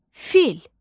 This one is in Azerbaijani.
Fil.